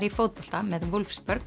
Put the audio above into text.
í fótbolta með